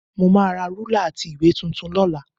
Mo máa ra rúlà àti ìwé tuntun lọ́la